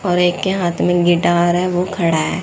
और एक के हाथ में गिटार है ओ खड़ा है।